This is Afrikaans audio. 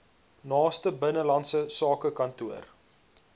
naaste binnelandse sakekantoor